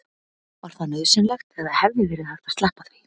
var það nauðsynlegt eða hefði verið hægt að sleppa því